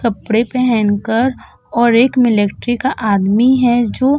कपड़े पहन कर और एक मिल्ट्री का आदमी है जो --